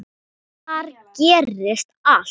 Þar gerist allt.